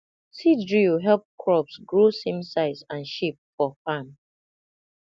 seed drill help crops grow same size and shape for farm